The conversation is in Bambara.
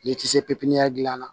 N'i tɛ se pepiniyɛri dilan